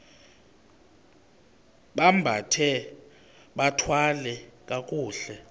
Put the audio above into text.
bambathe bathwale kakuhle